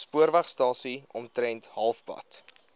spoorwegstasie omtrent halfpad